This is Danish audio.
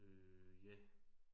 Øh ja